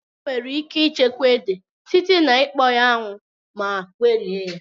Enwere ike ịchekwa ede site na ikpọ ya 'anwụ ma gwerie ya